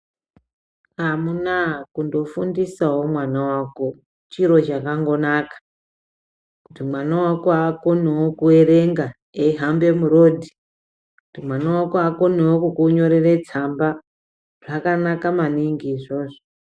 Amunaa kundofundisawo mwana wako chiro chakandonaka kuti mwana wako akonewo kuerenga eihamba murodhi, kuti mwana wako akonewo kukunyorera tsamba, zvakanaka maningi.